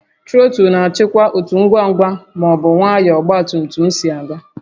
Trọtụlụ na-achịkwa otú ngwa ngwa ma ọ bụ nwayọọ ọgba tum tum si aga